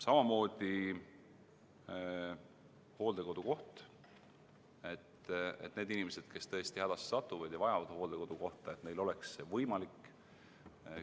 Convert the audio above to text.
Samamoodi hooldekodukoht, et nendel inimestel, kes tõesti hädasse satuvad ja vajavad hooldekodukohta, oleks võimalik see saada.